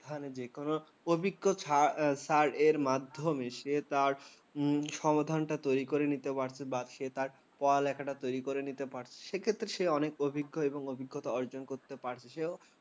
স্থানের অভিজ্ঞ sir রের মাধ্যমে উম সে তার সমাধানটা তৈরি করে নিতে পারছে বা সে তার পড়ালেখাটা তৈরি করে নিতে পারছে। সেক্ষেত্রে সে অনেক অভিজ্ঞ এবং অভিজ্ঞতা অর্জন করতে পারছে। সেও